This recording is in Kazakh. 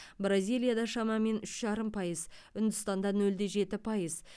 бразилияда шамамен үш жарым пайыз үндістанда нөл де жеті пайыз